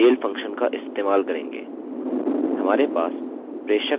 हम इसको भेजने के लिए mail फंक्शनfunction का इस्तेमाल करेंगे